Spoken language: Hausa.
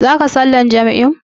Zaka sallar jam'in.